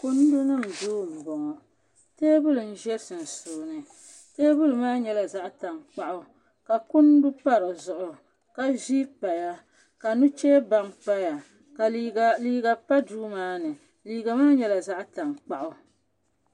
kundi nim duu n bɔŋɔ teebuli nyɛla ʒɛ sunsuuni teebuli maa nyɛla zaɣ tankpaɣu ka kundu pa dizuɣu ka vii paya ka nuchɛ baŋ paya ka liiga pa duu maa ni liiga maa nyɛla zaɣ tankpaɣu